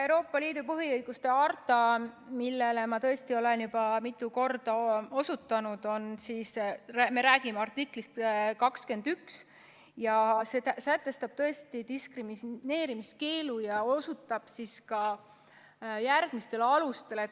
Euroopa Liidu põhiõiguste harta puhul, millele ma tõesti olen juba mitu korda osutanud, me räägime artiklist 21 ja see sätestab tõesti diskrimineerimiskeelu ja osutab ka järgmistele alustele.